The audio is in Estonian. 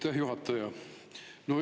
Aitäh, juhataja!